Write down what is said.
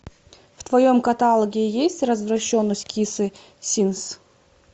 в твоем каталоге есть развращенность кисы симс